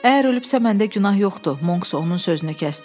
Əgər ölübsə, məndə günah yoxdur, Monks onun sözünü kəsdi.